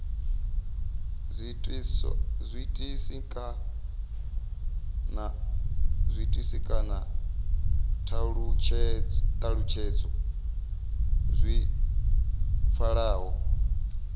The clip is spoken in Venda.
zwiitisi kana thalutshedzo dzi pfalaho